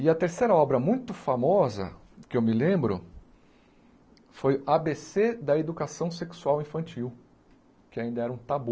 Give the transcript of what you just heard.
E a terceira obra muito famosa, que eu me lembro, foi á Bê Cê da Educação Sexual Infantil, que ainda era um tabu.